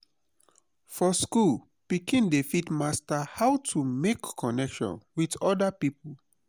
for school pikin dey fit master how to make connection with oda people